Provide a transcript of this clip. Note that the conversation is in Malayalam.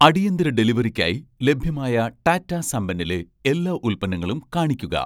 അടിയന്തര ഡെലിവറിക്കായി ലഭ്യമായ ടാറ്റാ സംപന്നിലെ എല്ലാ ഉൽപ്പന്നങ്ങളും കാണിക്കുക